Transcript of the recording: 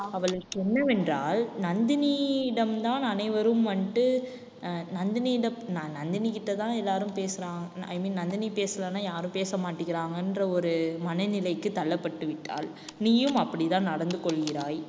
அவளுக்கு என்னவென்றால் நந்தினியிடம்தான் அனைவரும் வந்துட்டு அஹ் நந்தினியிடம் நான் நந்தினிகிட்டதான் எல்லாரும் பேசுறா~ i mean நந்தினி பேசலைன்னா யாரும் பேச மாட்டேங்கிறாங்கன்ற ஒரு மனநிலைக்கு தள்ளப்பட்டு விட்டாள் நீயும் அப்படிதான் நடந்து கொள்கிறாய்.